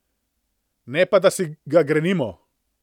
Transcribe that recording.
Ne pa da si ga grenimo.